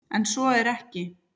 En svo er ekki.